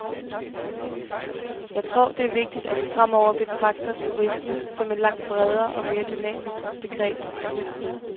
Jeg tror, det er vigtigt, at vi fremover betragter turisme som et langt bredere og mere dynamisk begreb end hidtil.